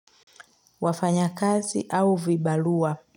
Wafanya kazi au vibalua.